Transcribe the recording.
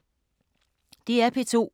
DR P2